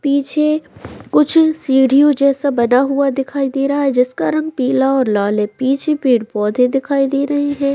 पीछे कुछ सीढ़ियों जैसा बना हुआ दिखाई दे रहा है जिसका रंग पीला और लाल है पीछे कुछ पेड़-पौधे दिखाई दे रहे है।